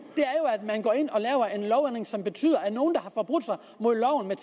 er en som betyder at nogle som har forbrudt sig mod loven med